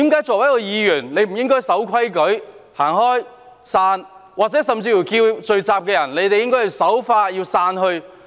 作為一位議員，他不是應該守規矩，離開現場，甚至呼籲聚集人士守法並散去嗎？